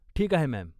ठीक आहे, मॅम.